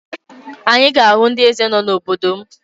Anyị ga-ahụ ndị eze nọ n'obodo m